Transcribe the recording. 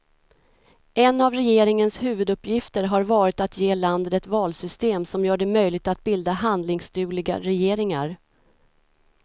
En av regeringens huvuduppgifter har varit att ge landet ett valsystem som gör det möjligt att bilda handlingsdugliga regeringar.